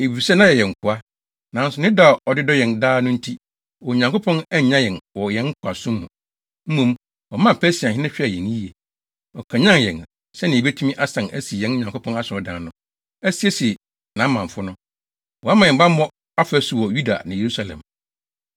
Efisɛ na yɛyɛ nkoa, nanso ne dɔ a ɔde dɔ yɛn daa no nti, Onyankopɔn annyaa yɛn wɔ yɛn nkoasom mu. Mmom, ɔmaa Persiahene hwɛɛ yɛn yiye. Ɔkanyan yɛn, sɛnea yebetumi asan asi yɛn Nyankopɔn asɔredan no, asiesie nʼamamfo no. Wama yɛn bammɔ afasu wɔ Yuda ne Yerusalem.